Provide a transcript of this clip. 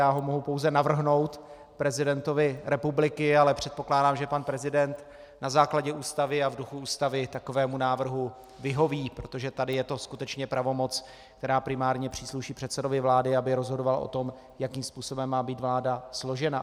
Já ho mohu pouze navrhnout prezidentovi republiky, ale předpokládám, že pan prezident na základě Ústavy a v duchu Ústavy takovému návrhu vyhoví, protože tady je to skutečně pravomoc, která primárně přísluší předsedovi vlády, aby rozhodoval o tom, jakým způsobem má být vláda složena.